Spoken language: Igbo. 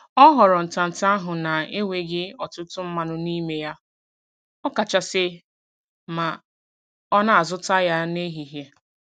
Ọ họrọ ntanta ahụ na - enweghị ọtụtụ mmanụ n'ime ya ọ kachasị ma ọ na-azụta ya n'ehihie